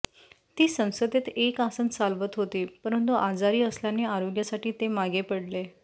ती संसदेत एक आसन चालवत होती परंतु आजारी असल्याने आरोग्यासाठी ते मागे पडले